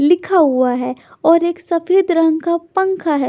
लिखा हुआ है और एक सफेद रंग का पंखा है।